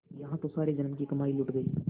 यहाँ तो सारे जन्म की कमाई लुट गयी